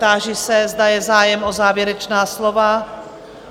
Táži se, zda je zájem o závěrečná slova.